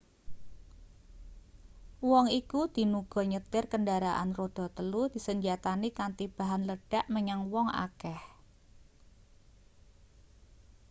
wong iku dinuga nyetir kendharaan rodha-telu disenjatani kanthi bahan ledhak menyang wong akeh